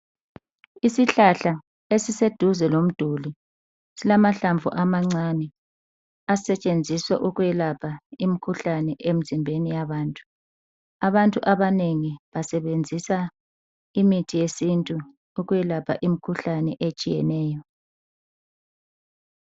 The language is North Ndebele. Isihlahla esiseduze lomduli silamahlamvu amancane asetshenziswa ukwelapha imikhuhlane emzimbeni yabantu, abantu abanengi basebenzisa imithi yesintu ukwelapha imikhuhlane etshiyeneyo.